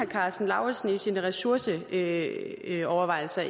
karsten lauritzen i sine ressourceovervejelser